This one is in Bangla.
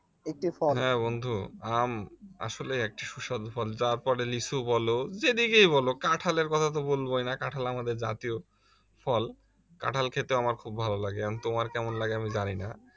হ্যাঁ বন্ধু আম আসলেই একটি সুস্বাদু ফল তারপরে লিচু বলো যেদিকেই বলো কাঁঠালের কথা তো বলবোই না কাঁঠাল আমাদের জাতীয় ফল কাঁঠাল খেতে আমার খুব ভালো লাগে এখন তোমার কেমন লাগে আমি জানি না